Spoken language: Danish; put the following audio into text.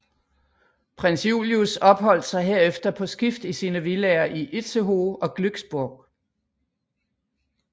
Prins Julius opholdt sig herefter på skift i sine villaer i Itzehoe og Glücksborg